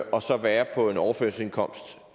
og så være på en overførselsindkomst